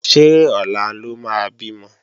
Ṣé ọ̀la ló máa bímọ?